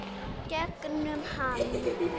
Gegnum hann.